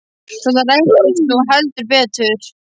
Svo það rættist nú heldur betur.